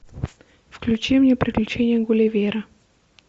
включи мне приключения гулливера